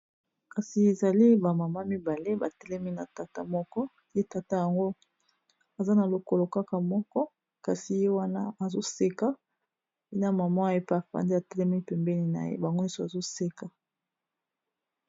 kasi ezali bamama mibale batelemi na tata moko ye tata yango aza na lokolo kaka moko kasi ye wana azoseka na basi mibale batelemi pembeni na ye bango pe bazo seka .